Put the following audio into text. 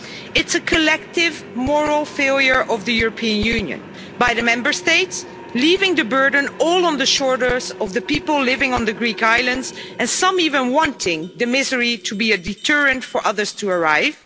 It's a collective moral failure of the European Union by the Member States, leaving the burden all on the shoulders of the people living on the Greek islands, and some even wanting the misery to be a deterrent for others to arrive.